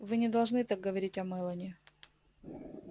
вы не должны так говорить о мелани